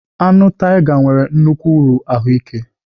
Anụ tiger nwere nnukwu uru ahụike